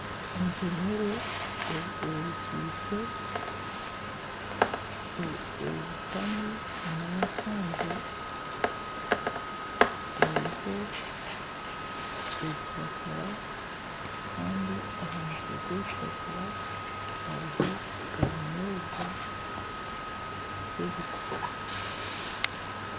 Entemere orukiise, obutami n'efunjo eriho ebipapura kandi aha mutwe gw'ebipapura hariho ebinyoobwa by'ebishushu.